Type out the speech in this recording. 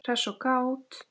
Hress og kát.